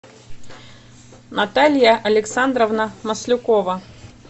наталья александровна маслюкова